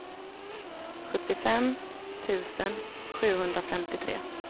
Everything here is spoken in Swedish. sjuttiofem tusen sjuhundrafemtiotre